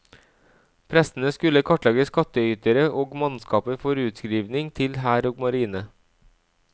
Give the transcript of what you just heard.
Prestene skulle kartlegge skattytere og mannskaper for utskrivning til hær og marine.